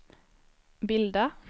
bilda